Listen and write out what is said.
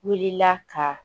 Wulila ka